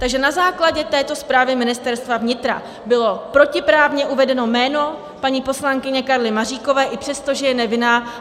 Takže na základě této zprávy Ministerstva vnitra bylo protiprávně uvedeno jméno paní poslankyně Karly Maříkové i přesto, že je nevinná.